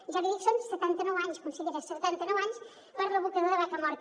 ja li dic són setanta nou anys consellera setanta nou anys per a l’abocador de vacamorta